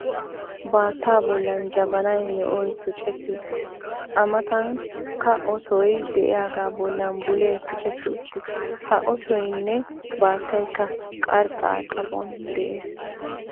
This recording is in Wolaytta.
Baaattaa bollan jabanaa me'oy tucetti uttis. A matankka otoy diyagaa bollan bulee tucetti uttis. Ha otoyinne baattayikka qarxxa xaphon des.